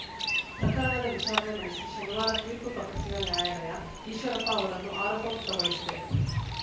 ಪ್ರಕರಣದ ವಿಚಾರಣೆ ನಡೆಸಿ ಶನಿವಾರ ತೀರ್ಪು ಪ್ರಕಟಿಸಿದ ನ್ಯಾಯಾಲಯ ಈಶ್ವರಪ್ಪ ಅವರನ್ನು ಆರೋಪ ಮುಕ್ತಗೊಳಿಸಿದೆ